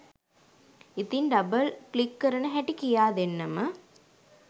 ඉතින් double click කරන හැටි කියා දෙන්නම